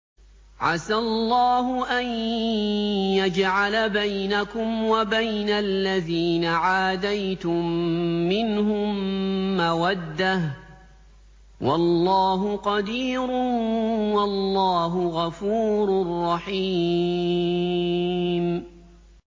۞ عَسَى اللَّهُ أَن يَجْعَلَ بَيْنَكُمْ وَبَيْنَ الَّذِينَ عَادَيْتُم مِّنْهُم مَّوَدَّةً ۚ وَاللَّهُ قَدِيرٌ ۚ وَاللَّهُ غَفُورٌ رَّحِيمٌ